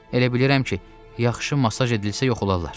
Elə bilirəm ki, yaxşı masaj edilsə yox olarlar.